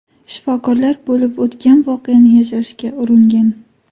Shifokorlar bo‘lib o‘tgan voqeani yashirishga uringan.